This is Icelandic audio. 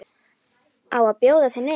Á að bjóða þau niður?